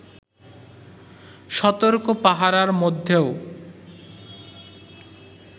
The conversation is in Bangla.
সতর্ক পাহারার মধ্যেও